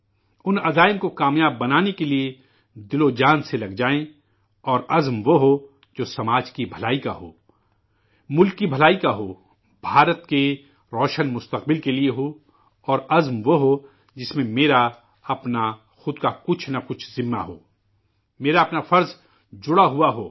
ان عزائم کو ثابت کرنے کے لیے جی جان سے مصروف ہو جائیں اور عزم وہ ہو جو سماج کی بھلائی کاہو، دیش کی بھلائی کا ہو، ہندوستان کے روشن مستقبل کے لیے ہو، اور عزم وہ ہو، جس میں، میری ، اپنی، خود کی کچھ نہ کچھ ذمہ داری ہو، میرا اپنا فرض جڑا ہوا ہو